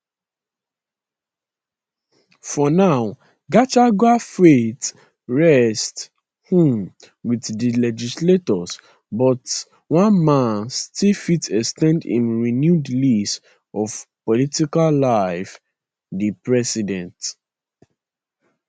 for now gachagua fate rest um wit di legislators but one man still fit ex ten d im renewed lease of political life di president